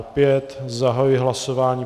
Opět zahajuji hlasování.